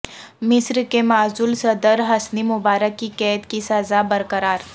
مصر کے معزول صدر حسنی مبارک کی قید کی سزا برقرار